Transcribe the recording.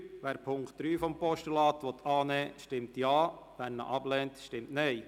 Wer diesen als Postulat annehmen will, stimmt Ja, wer dies ablehnt, stimmt Nein.